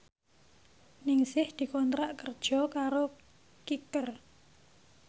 Ningsih dikontrak kerja karo Kicker